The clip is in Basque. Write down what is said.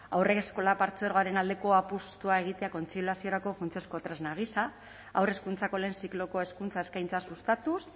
haurreskolak partzuergoaren aldeko apustua egitea kontziliaziorako funtsezko tresna gisa haur hezkuntzako lehen zikloko hezkuntza eskaintza sustatuz